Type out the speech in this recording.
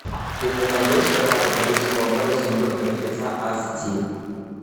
ты мне найдешь пираты карибского моря сундук мертвеца ас ди